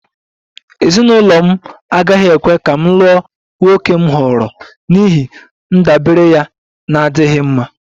Ezinụlọ m agaghị ekwe ka m lụọ nwoke m họọrọ n'ihi ndabere ya na-adịghị mma